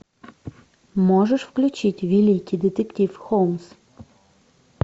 можешь включить великий детектив холмс